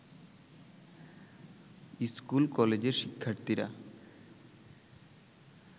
স্কুল-কলেজের শিক্ষার্থীরা